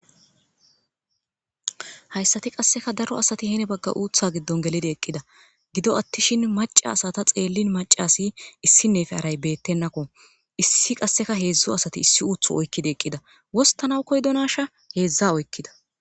hayssati qasseka daro asati heene bagga uutha giddon gelide eqqida gido attishin maca asata xeellin macasi issinnefe aray beettenakko issi qasseka heedzdzo asati issi uutho oykkide eqqida wostana koydonasha heedzdza oykkida